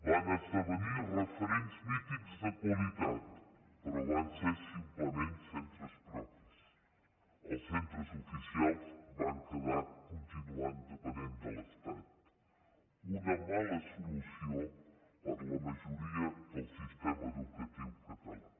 van esdevenir referents mítics de qualitat però van ser simplement centres propis els centres oficials van quedar continuant depenent de l’estat una mala solució per a la majoria del sistema educatiu català